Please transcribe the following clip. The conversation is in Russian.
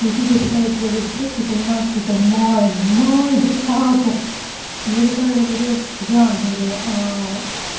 и тут я читаю первые строчки и понимаю что это мой мой диктатор и я такая говорю диан говорю